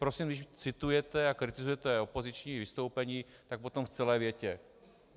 Prosím, když citujete a kritizujete opoziční vystoupení, tak potom v celé větě.